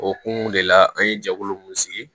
Okumu de la an ye jɛkulu mun sigi